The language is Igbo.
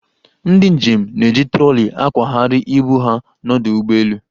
Ndị njem na-eji troli akwagharị ibu ha n'ọdụ ụgbọelu.